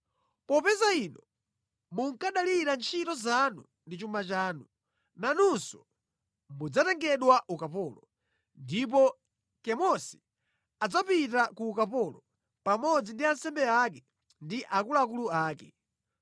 Popeza inu munkadalira ntchito zanu ndi chuma chanu, nanunso mudzatengedwa ukapolo, ndipo Kemosi adzapita ku ukapolo, pamodzi ndi ansembe ake ndi akuluakulu ake.